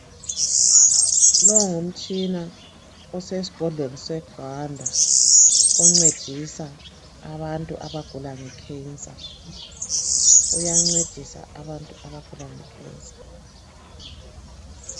Longumtshina usesibhedlela segwanda uyancedisa abantu abagula imvukuzane. Uyancedisa abantu abagula ngemvukuzane.